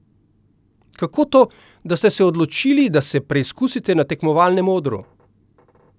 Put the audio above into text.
Kako to, da ste se odločili, da se preizkusite na tekmovalnem odru?